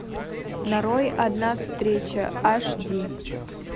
нарой одна встреча аш ди